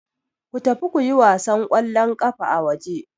Ku tafi kuyi wasan ƙwallon ƙafa a waje.